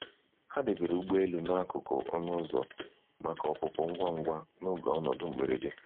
Ha debere ụgbọelu n'akụkụ ọnụ ụzọ maka ọpụpụ ngwa ngwa n'oge ọnọdụ mgberede.